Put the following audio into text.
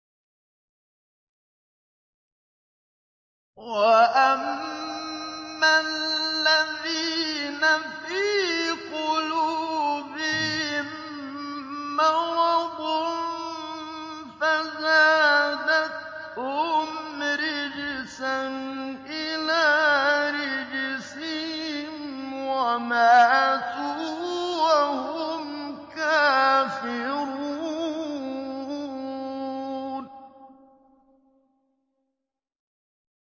وَأَمَّا الَّذِينَ فِي قُلُوبِهِم مَّرَضٌ فَزَادَتْهُمْ رِجْسًا إِلَىٰ رِجْسِهِمْ وَمَاتُوا وَهُمْ كَافِرُونَ